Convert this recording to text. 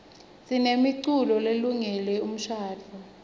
sinemiculo lelungele umshadvo